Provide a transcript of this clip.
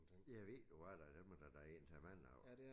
Ja ved du hvad da dem er der da altså mange af